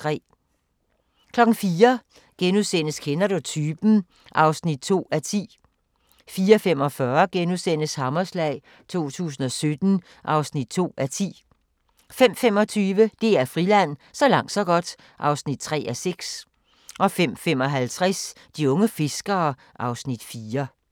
04:00: Kender du typen? (2:10)* 04:45: Hammerslag 2017 (2:10)* 05:25: DR Friland: Så langt så godt (3:6) 05:55: De unge fiskere (Afs. 4)